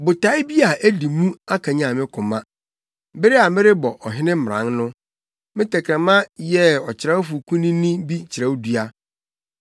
Botae bi a edi mu akanyan me koma bere a merebɔ ɔhene mmran no; me tɛkrɛma yɛ ɔkyerɛwfo kunini bi kyerɛwdua.